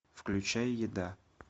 включай еда